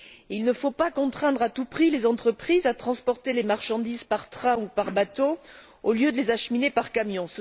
Il ne faut pas contraindre à tout prix les entreprises à transporter les marchandises par train ou par bateau, au lieu de les acheminer par camion.